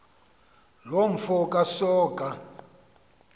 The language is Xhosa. loo mfo kasoga